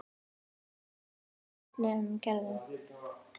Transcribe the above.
Dvergplöntur af öllum gerðum.